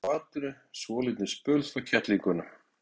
Þeir hvolfdu úr fatinu svolítinn spöl frá kettlingunum.